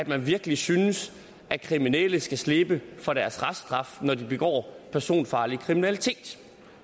man virkelig synes at kriminelle skal slippe for deres reststraf når de begår personfarlig kriminalitet